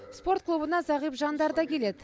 спорт клубына зағип жандар да келеді